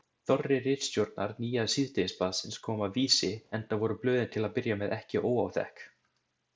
Þorri ritstjórnar nýja síðdegisblaðsins kom af Vísi, enda voru blöðin til að byrja með ekki óáþekk.